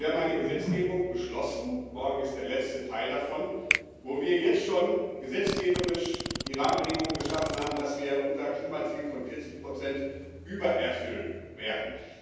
Wir haben eine Gesetzgebung beschlossen morgen ist der letzte Teil davon wo wir jetzt schon gesetzgeberisch die Rahmenbedingungen geschaffen haben, dass wir unser Klimaziel von 40 übererfüllen werden.